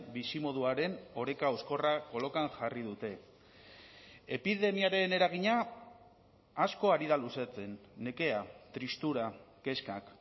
bizimoduaren oreka hauskorra kolokan jarri dute epidemiaren eragina asko ari da luzatzen nekea tristura kezkak